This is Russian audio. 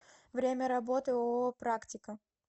время работы ооо практика